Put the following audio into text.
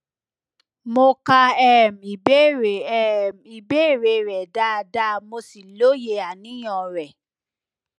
mo ka um ìbéèrè um ìbéèrè rẹ dáadáa mo sì lóye àníyàn rẹ